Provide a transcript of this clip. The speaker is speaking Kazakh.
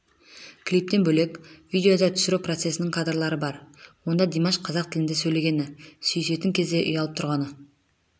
клиптен бөлек видеода түсіру процесінің кадрлары бар онда димаш қазақ тілінде сөйлегені сүйісетін кезде ұялып тұрғаны